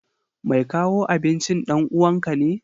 Mai kawo abincin ɗan uwanka ne?